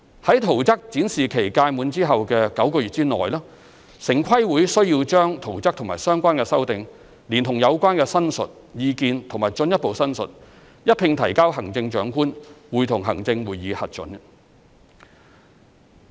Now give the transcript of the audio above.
在圖則展示期屆滿後的9個月內，城規會需要把圖則和相關修訂，連同有關申述、意見和進一步申述，一併提交行政長官會同行政會議核准。